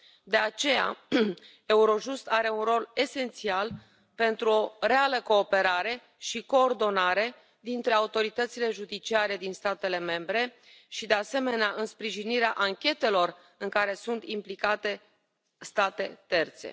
De aceea, Eurojust are un rol esențial pentru o reală cooperare și coordonare dintre autoritățile judiciare din statele membre și, de asemenea, în sprijinirea anchetelor în care sunt implicate state terțe.